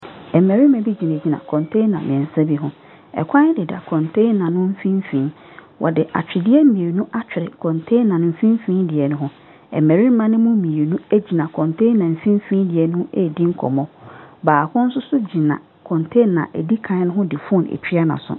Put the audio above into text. Ɛmbɛrima bi gyinagyina kɔntena miɛnsa bi ho. Ɛkwan deda kɔntena no mfimfini. Wɔde atwedeɛ mienu atwere kɔntena mfimfini diɛ no ho. Mbɛrima no mu mienu egyina kɔntena mfimfini deɛ no edi nkɔmɔ. Baako soso gyina kɔntena edi kan no ho de fon etwia n'aso.